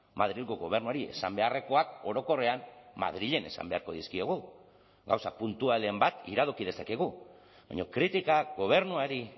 madrilgo gobernuari esan beharrekoak orokorrean madrilen esan beharko dizkiegu gauza puntualen bat iradoki dezakegu baina kritikak gobernuari